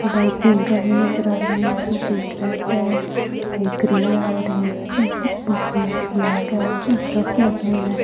अ बाएं तीन गाड़ियां नजर आ रही है जिसमें से एक रेड है एक ग्रे है और एक ग्रेइश ब्लैक और ट्रक लगे हुए हैं।